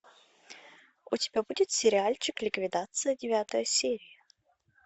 у тебя будет сериальчик ликвидация девятая серия